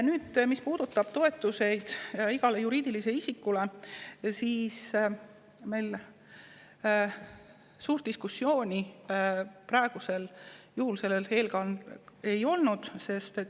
Nüüd, mis puudutab toetuseid igale juriidilisele isikule, siis suurt diskussiooni meil selle üle ei olnud.